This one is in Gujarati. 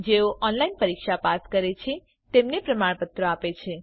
જેઓ ઓનલાઇન પરીક્ષા પાસ કરે છે તેમને પ્રમાણપત્ર આપે છે